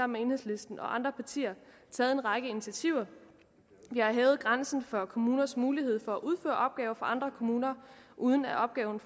med enhedslisten og andre partier taget en række initiativer vi har hævet grænsen for kommuners mulighed for at udføre opgaver for andre kommuner uden at opgaven